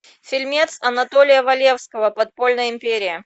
фильмец анатолия валевского подпольная империя